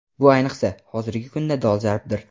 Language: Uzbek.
Bu ayniqsa, hozirgi kunda dolzarbdir..